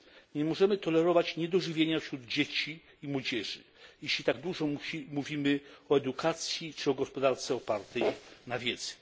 Nie możemy tolerować niedożywienia wśród dzieci i młodzieży, jeśli tak dużo mówimy o edukacji czy o gospodarce opartej na wiedzy.